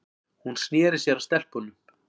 Hún sneri sér að stelpunum.